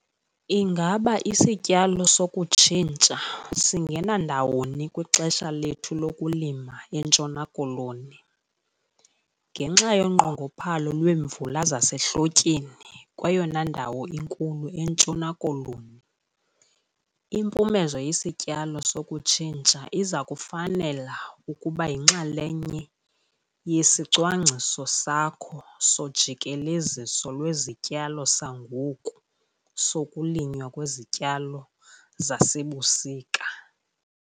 Ingaba isityalo sokutshintsha singena ndawoni kwixesha lethu lokulima eNtshona Koloni? Ngenxa yonqongophalo lweemvula zasehlotyeni kweyona ndawo inkulu eNtshona Koloni, impumezo yesityalo sokutshintsha iza kufanela ukuba yinxalenye yesicwangciso sakho sojikeleziso lwezityalo sangoku sokulinywa kwezityalo zasebusika.